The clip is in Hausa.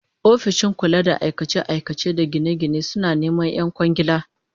Ofishin kula da aikace-aikace da gine-gine suna neman 'yan kwangiila